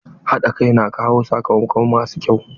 Haɗa kai na kawo sakamako masu kyau.